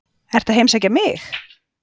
Ertu að heimsækja mig?